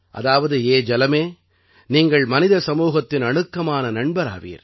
அதாவது ஏ ஜலமே நீங்கள் மனித சமூகத்தின் அணுக்கமான நண்பர் ஆவீர்